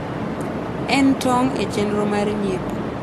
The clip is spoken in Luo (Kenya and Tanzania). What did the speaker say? en tong` e chenro mar nyiepo